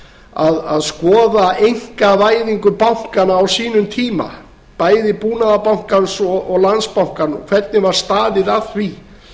þess að skoða einkavæðingu bankanna á sínum tíma bæði búnaðarbankans og landsbankans hvernig var staðið að því